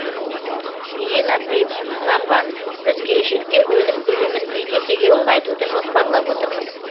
ирина приб бағбан біз келешекте өнім көлемін екі есеге ұлғайтуды жоспарлап отырмыз